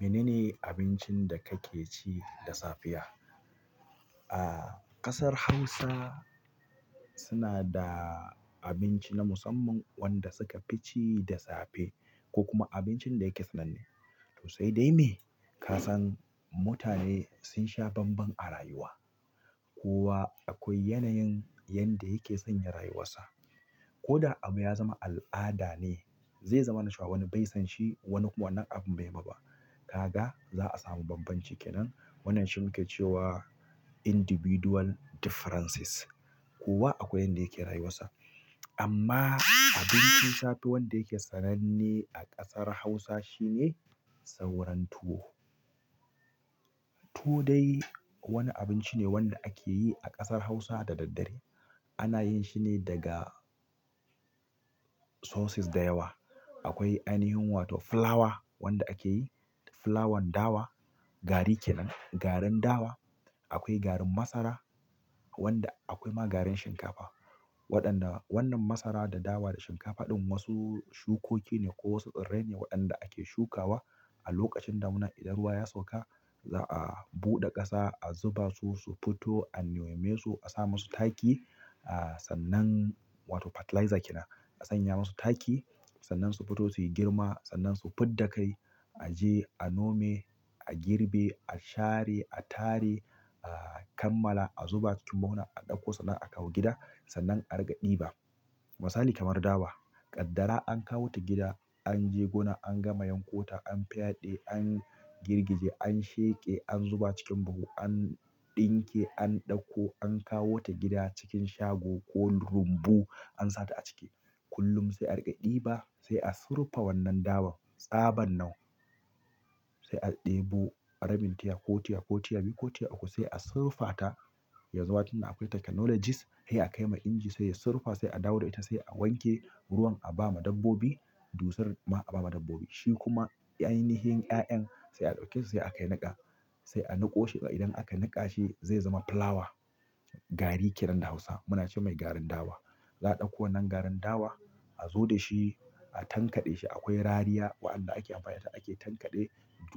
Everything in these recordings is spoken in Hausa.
Mene ne abincin da kake ci da safiya? A ƙasar Hausa suna da abinci na musamman wanda suka fi ci da safe ko kuma abincin da yake sananne. To sai dai me? Kasan mutane sun sha banban a rayuwa. Kowa akwai yanayin yanda yake sanya rayuwarsa. Ko da abu ya zama al'ada ne, zai zama na cewa wani bai sonshi wani wannan abu bai ma ba. Kaga za a samu babban ci kenan. Wannan shi muke cewa individual differences. Kowa akwai yanda yake rayuwasa ama abinci safe wanda yake sananne a ƙasar hausa shine sauran tuwo, tuwo dai wani abinci ne wanda ake yi a ƙasar hausa da dare ana yin shi ne daga sources da yawa. Akwai ainihin wato flower wanda ake yi, flower dawa, gari kenan, garin dawa. Akwai garin masara wanda akwai ma garin shinkafa. Waɗanda wannan masara da dawa da shinkafa ɗin wasu shukoki ne ko wasu tsirrai ne waɗanda ake shukawa a lokacin damuna. Idan ruwa ya sauka za a buɗe ƙasa, a zuba su, su fito, a nome su, a sa musu taki. Ah sannan wato fertiliser kenan. A sanya masu taki. Sannan su fito su yi girma. Sannan su fidda kai. A je a nome, a girbe, a share, a tare, a kammala, a zuba cikin ma'una, a ɗauko sannan a kawo gida. Sannan a riƙa ɗiba. Misali kamar dawa. Kaddara an kawo ta gida, an je gona, an gama yankota, an fyade, an girgije, an sheƙe, an zuba cikin buhu, an ɗinke, an ɗauko, an kawo ta gida cikin shago ko rumbu an sa ta a ciki. Kullum sai a riƙe ɗiba. Sai a surfa wannan dawa tsaban nan sai a ɗebo. Rabin tiya ko tiya ko tiya biyu ko tiya uku. Sai a surfata. Yanzu ma tunda akwai technologies. Sai a kai ma inji sai ya surfa. Sai a dawo da ita. Sai a wanke ruwan a ba ma dabbobi. Dusar ma a ba ma dabbobi. Shi kuma ainihin ƴaƴan. Sai a ɗauke su sai a kai niƙa. Sai a niƙo shi. Idan aka niƙa shi zai zama flower. Garin kenan da Hausa. Muna ce mai garin dawa. Za a ɗauko wannan garin dawa. A zo da shi. A tankaɗe shi. Akwai rariya waɗanda ake amfani da ita ake tankaɗe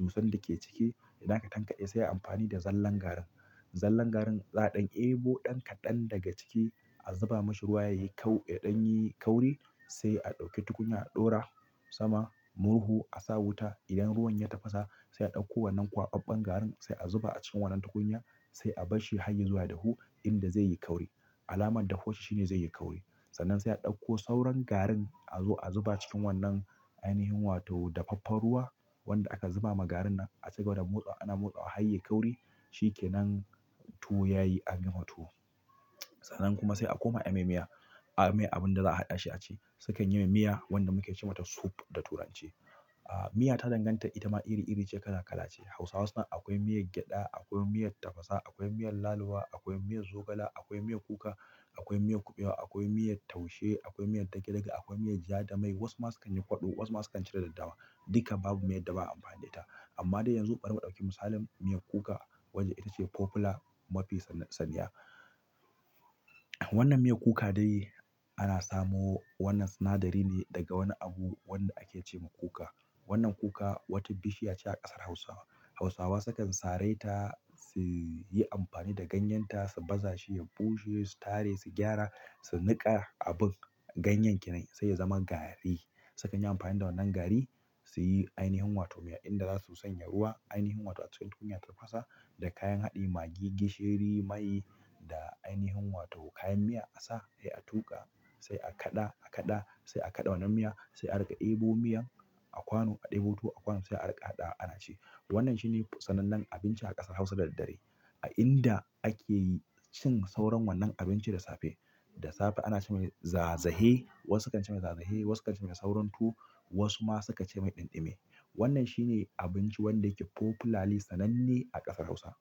dusan da ke ciki. Idan aka tankaɗe sai a yi amfani da zallan garin. Zallan garin za dan daibo dan kaɗan daga ciki a zuba mashi ruwa ya yi kau-- ya ɗan yi kauri. Sai a ɗauki tukunya, a ɗora sama murhu. A sa wuta. Idan ruwan ya tafasa sai a ɗauko wannan kwakwabban garin sai a zuba a cikin wannan tukunya. Sai a barshi har ya zuwa dahu inda zai yi kauri. Alamar da huwar shi ne zai yi kauri. Sannan sai a ɗauko sauran garin a zo a zuba cikin wannan ainihin wato dafaffen ruwa wanda aka zuba ma garin nan. A cigaba da motsawa ana motsawa har yayi kauri. Shi kenan tuwo yayi an gama tuwo. Sannan kuma sai a koma a mai miya. Ah mai abin da za a haɗa shi a ci. Sukan yin miya wanda muke ce mata soup da turanci. Ah miya ta danganta ita ma iri iri ce kala kala ce. Hausawa suna akwai miyar gyada, akwai miyar tafasa, akwai miyar lalo wa, akwai miyar zogala, akwai miyar kuka, akwai miyar kuɓewa, akwai miyar taushe, akwai miyar dage dage, akwai miyar ja da mai. Wasu ma sukan yi kwaɗo. Wasu ma sukan cire daddawa. Duka babu miya da ba amfani da ita. Amma dai yanzu bari mu ɗauki misalin miyar kuka wacce ita ce popular mafi san-saniya. Wannnan miyan kuka dai ana samo wannan sinadari ne daga wani abu wanda ake ce ma kuka. Wannnan kuka wata bishiya ce a ƙasar Hausawa. Hausawa sukan saraita su yi amfani da ganyen ta, su baza shi, ya ɓushe, su tare, su gyara, su niƙa abin. Ganyen kenan sai ya zama gari. Sukan yi amfani da wannan gari su yi ainihin wato miya inda za su sanya ruwa. Ainihin wato a cikin tukunya ta fasa da kayan haɗi magi, gishiri, mai da ainihin wato kayan miya a sa. Sai a tuƙa. Sai a kaɗa, a kaɗa. Sai a kaɗa wannan miya. Sai a riƙa ɗebo miyan a kwano a ɗebo tuwo a kwano sai a riƙa haɗa ana ci. Wannnan shi ne sanannen abinci a ƙasar Hausa da daddare. A inda ake cin sauran wannan abinci da safe. Da safe ana ce mai zazahe. Wasu sukan ce mai zazahe, wasu kan ce mai sauran tuwo, wasu ma sukan ce mai ɗinɗime. Wannnan shi ne abinci wanda yake popularly sananne a ƙasar Hausa.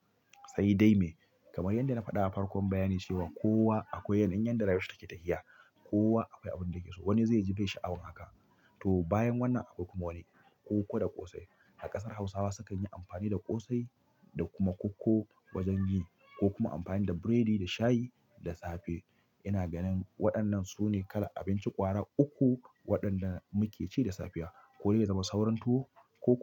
Sai dai me? Kamar yanda na faɗa a farkon bayani cewa kowa akwai yanayin yanda rayuwar take tafiya. Kowa akwai abin da yake so. Wani zai ji bai sha'awan haka. Tau bayan wannan akwai kuma wani koko da ƙosai. A ƙasar Hausawa sukan yi amfani da ƙosai da kuma koko wajen yi. Ko kuma amfani da burodi, da shayi da safe. Ina ganin waɗannan su ne kalar abinci ƙwara uku waɗanda muke ci da safiya. Ko dai ya zama sauranto ko kuma.